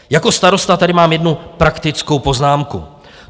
Jako starosta tady mám jednu praktickou poznámku.